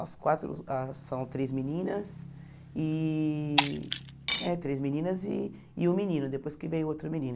As quatro as são três meninas e... É, três meninas e e um menino, depois que veio outro menino.